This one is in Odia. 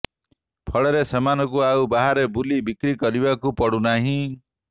ଫଳରେ ସେମାନଙ୍କୁ ଆଉ ବାହାରେ ବୁଲି ବିକ୍ରି କରିବାକୁ ପଡୁନାହିଁ